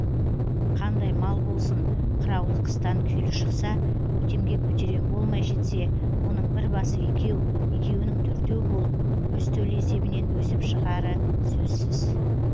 қандай мал болсын қыраулы қыстан күйлі шықса көктемге көтерем болмай жетсе оның бір басы екеу екеуінің төртеу болып өз төлі есебінен өсіп шығары сөзсіз